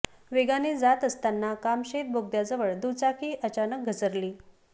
वेगाने जात असताना कामशेत बोगद्याजवळ दुचाकी अचानक घसरली